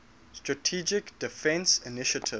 strategic defense initiative